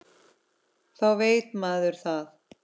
Þá veit maður það.